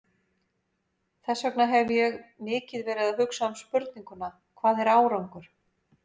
Þess vegna hef ég mikið verið að hugsa um spurninguna, hvað er árangur?